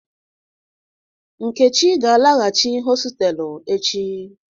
Nkechi ga-alaghachi hostelu echi.